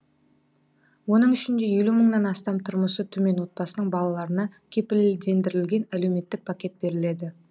оның ішінде елу мыңнан астам тұрмысы төмен отбасының балаларына кепілдендірілген әлеуметтік пакет беріледі